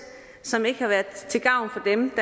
som ikke har været til gavn for dem